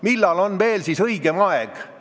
Millal oleks siis veel õigem aeg?